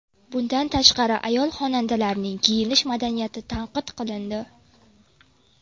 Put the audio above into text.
Bundan tashqari, ayol-xonandalarning kiyinish madaniyati tanqid qilindi.